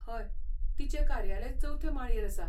हय, तिचें कार्यालय चवथे माळयेर आसा.